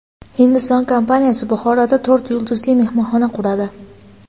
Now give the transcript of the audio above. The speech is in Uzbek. Hindiston kompaniyasi Buxoroda to‘rt yulduzli mehmonxona quradi.